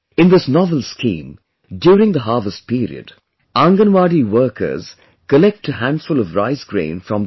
In this novel scheme, during the harvest period, Anganwadi workers collect a handful of rice grain from the people